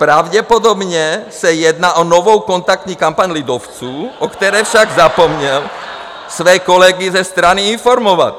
Pravděpodobně se jedná o novou kontaktní kampaň lidovců, o které však zapomněl své kolegy ze strany informovat.